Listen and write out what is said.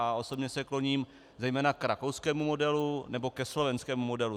A osobně se kloním zejména k rakouskému modelu nebo ke slovenskému modelu.